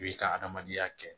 I b'i ka adamadenya kɛ